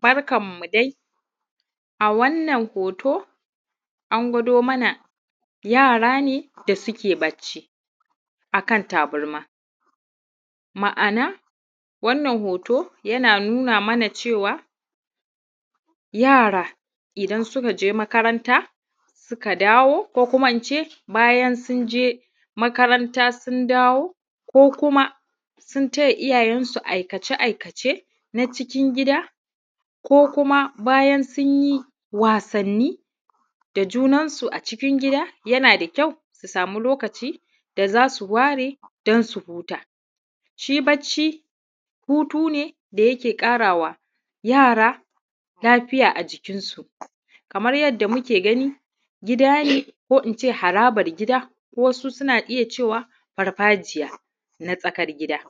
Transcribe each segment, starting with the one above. Barkanmu dai a wannan hoto an gwado mana yara ne suke bacci a kan tabarma da suke bacci a kan tabarma. Ma'ana wannan hoto yana nuna mana cewa yara idan suka dawo ko kuma in ce bayan sun je makaranta sun dawo ko kuma ina ce sun yi taya iyayensu aikace-aikace na cikin gida ko in sun yi wasanni da junansu a cikin. Yana da ƙyau su sama lokaci don su huta shi bacci hutu ne da yake ƙara wa yara lafiya a jikinsu. Kamar yadda muke gani gida ne ko dai ina ce harabar gida wasu suna iya cewa farfajiyar tsakar gida,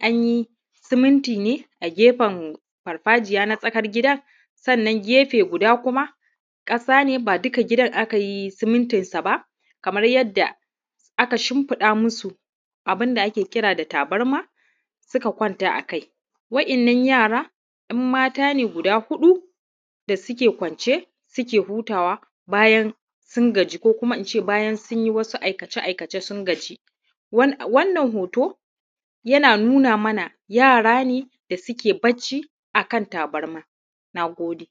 an yi suminti ne a gefen farfajiyar na tsakar gida gefe guda kuma ƙasa ne ba duka gidan aka yi simintinsa ba akan shimfiɗa musu tabarma suka kwanta a kai. Waɗannan yara 'yam mata ne guda huɗu da suke kwance suke hutawa bayan sun gaji ko kuma in ce sun yi aikace-aikace sun gaji. Wannan hoto ya nuna mana yara ne da suke bacci a kan tabarma. Na gode.